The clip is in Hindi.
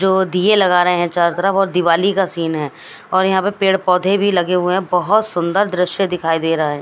जो दिए लग रहे हैं चारो तरफ और दिवाली का सीन है और यहां पर पेड़ पौधे भी लगे हुए हैं बहुत सुंदर दृश्य दिखाई दे रहा है।